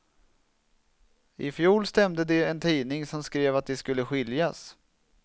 I fjol stämde de en tidning som skrev att de skulle skiljas.